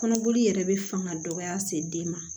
Kɔnɔboli yɛrɛ bɛ fanga dɔgɔya se den ma